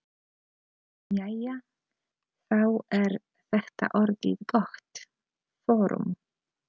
Jæja, þá er þetta orðið gott. Förum.